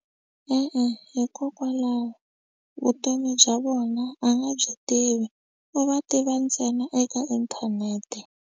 E-e, hikokwalaho vutomi bya vona a nga byi tivi u va tiva ntsena eka inthanete.